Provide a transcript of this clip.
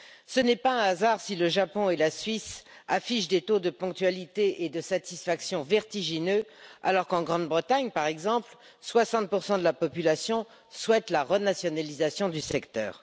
Ce n'est pas un hasard si le Japon et la Suisse affichent des taux de ponctualité et de satisfaction vertigineux, alors qu'en Grande Bretagne, par exemple, 60 de la population souhaite la renationalisation du secteur.